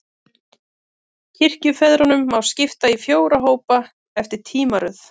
Kirkjufeðrunum má skipta í fjóra hópa, eftir tímaröð.